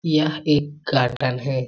यह एक गार्डन है।